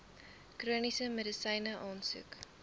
chroniese medisyne aansoek